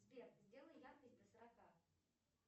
сбер сделай яркость до сорока